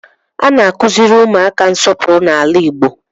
A na-akụziri ụmụaka nsọpụrụ n'ala Igbo